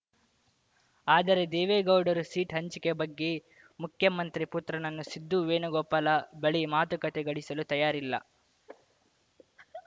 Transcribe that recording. ಆದರೆ ದೇವೇಗೌಡರು ಸೀಟ್‌ ಹಂಚಿಕೆ ಬಗ್ಗೆ ಮುಖ್ಯಮಂತ್ರಿ ಪುತ್ರನನ್ನು ಸಿದ್ದು ವೇಣುಗೋಪಾಲ ಬಳಿ ಮಾತುಕತೆ ಗಳಿಸಲ್ಲು ತಯಾರಿಲ್ಲ